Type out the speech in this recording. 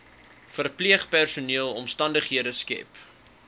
verpleegpersoneel omstandighede skep